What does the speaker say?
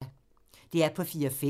DR P4 Fælles